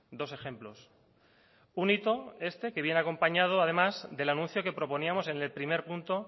dos ejemplos un hito este que viene acompañado además del anuncio que proponíamos en el primer punto